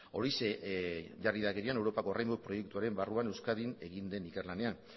horixe jarri da gehien europako proiektuaren barruan euskadin egin den ikerlanean